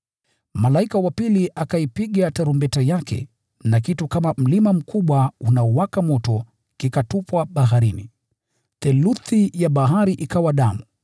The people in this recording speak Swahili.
Malaika wa pili akaipiga tarumbeta yake na kitu kama mlima mkubwa unaowaka moto kikatupwa baharini. Theluthi ya bahari ikawa damu,